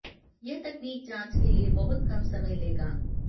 यह तकनीक जांच के लिए बहुत कम समय लेगा